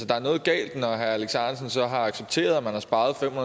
der er noget galt når herre alex ahrendtsen så har accepteret at man har sparet fem